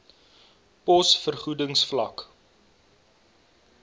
pos vergoedings vlak